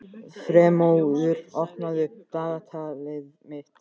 Freymóður, opnaðu dagatalið mitt.